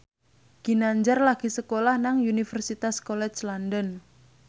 Ginanjar lagi sekolah nang Universitas College London